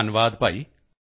ਧੰਨਵਾਦ ਭਾਈ